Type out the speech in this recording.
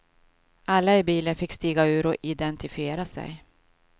Alla i bilen fick stiga ur och identifiera sig.